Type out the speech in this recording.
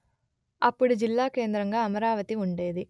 అప్పుడు జిల్లా కేంద్రగా అమరావతి ఉండేది